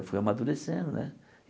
Eu fui amadurecendo, né?